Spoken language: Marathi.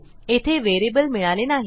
येथे व्हेरिएबल मिळाले नाही